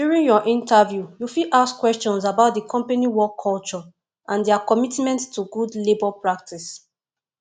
during your interview you fit ask questions about di company work culture and their commitment to good labour practice